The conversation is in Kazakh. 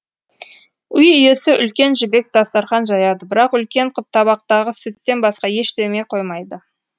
үй иесі үлкен жібек дастархан жаяды бірақ үлкен қып табақтағы сүттен басқа ештеме қоймайды